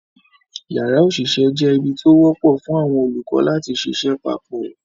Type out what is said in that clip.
Yàrá òṣìṣẹ́ jẹ́ ibi tó wọ́pọ̀ fún àwọn olùkọ́ láti ṣiṣẹ́ papọ̀